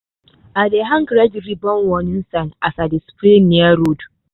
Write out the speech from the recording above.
i dey hang red ribbon warning sign as i dey spray near road.